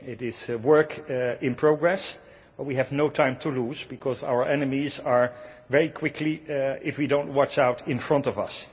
It is work in progress, but we have no time to lose because our enemies are very quickly, if we do not watch out, in front of us.